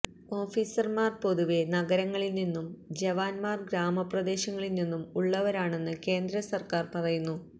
ഓഫീസര്മാര് പൊതുവെ നഗരങ്ങളില്നിന്നും ജവാന്മാര് ഗ്രാമ പ്രദേശങ്ങളില്നിന്നും ഉള്ളവരാണെന്ന് കേന്ദ്ര സര്ക്കാര് പറഞ്ഞു